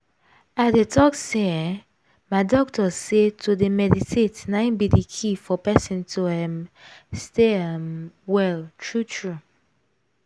i dey talk say eeh my doctors say to dey meditate na in be the key for person to um stay um well true true.